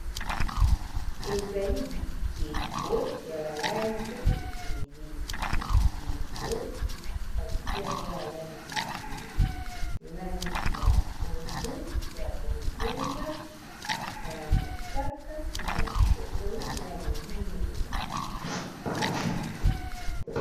Ezali bikeko ya ba langi ebele, bikeko batie yango ba langi ebele langi ya pondu, ya bozenga, ya mosaka, na ya shokola na ya moyindo.